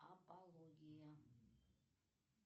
апология